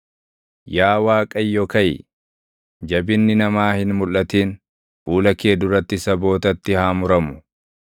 Yaa Waaqayyo kaʼi; jabinni namaa hin mulʼatin; fuula kee duratti sabootatti haa muramu.